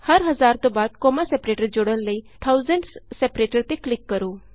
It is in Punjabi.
ਹਰ ਹਜ਼ਾਰ ਤੋਂ ਬਾਅਦ ਕੋਮਾ ਸੇਪਰੈਟਰ ਜੋੜਨ ਲਈ ਥਾਊਸੈਂਡਜ਼ ਸੈਪਰੇਟਰ ਤੇ ਕਲਿਕ ਕਰੋ